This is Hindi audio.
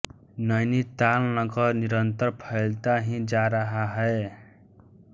नैनीताल नगर निरन्तर फैलता ही जा रहा है